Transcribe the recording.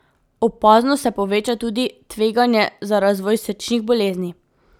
Opazno se poveča tudi tveganje za razvoj srčnih bolezni.